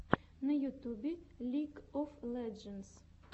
на ютубе лиг оф леджендс